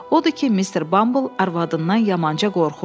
Odur ki, Mister Bumble arvadından yamanca qorxurdu.